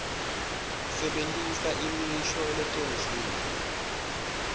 sebentisa imisho lecondzile